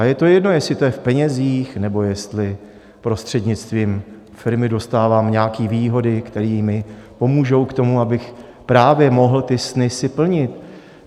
A je to jedno, jestli to je v penězích, nebo jestli prostřednictvím firmy dostávám nějaké výhody, které mi pomůžou k tomu, abych právě mohl ty sny si plnit.